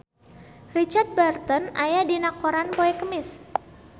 Richard Burton aya dina koran poe Kemis